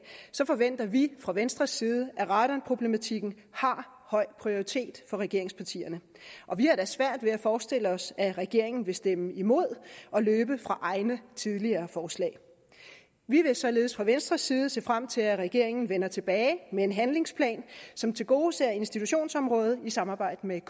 forventer vi fra venstres side at radonproblematikken har høj prioritet for regeringspartierne og vi har da svært ved at forestille os at regeringen vil stemme imod og løbe fra egne tidligere forslag vi vil således fra venstres side se frem til at regeringen vender tilbage med en handlingsplan som tilgodeser institutionsområdet i samarbejde med